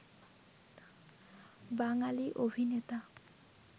বাঙালি অভিনেতা